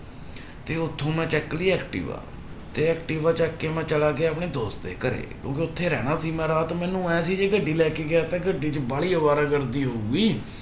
ਤੇ ਉੱਥੋਂ ਮੈਂ ਚੱਕ ਲਈ ਐਕਟਿਵਾ ਤੇ ਐਕਟਿਵਾ ਚੁੱਕ ਕੇ ਮੈਂ ਚਲਾ ਗਿਆ ਆਪਣੇ ਦੋਸਤ ਦੇ ਘਰੇ ਕਿਉਂਕਿ ਉੱਥੇ ਰਹਿਣਾ ਸੀ ਮੈਂ ਰਾਤ ਨੂੰ ਮੈਨੂੰ ਇਹ ਸੀ ਜੇ ਗੱਡੀ ਲੈ ਕੇ ਗਿਆ ਤਾਂ ਗੱਡੀ ਚ ਵਾਲੀ ਅਵਾਰਾਗਰਦੀ ਹੋਊਗੀ।